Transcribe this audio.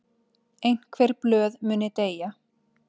Einhver blöð muni deyja